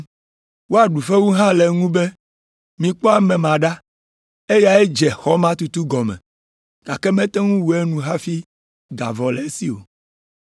Woaɖu fewu hã le eŋu be, ‘Mikpɔ ame ma ɖa! Eyae dze xɔ ma tutu gɔme, gake mete ŋu wu enu hafi ga vɔ le esi o.’